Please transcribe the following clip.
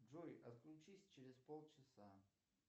джой отключись через полчаса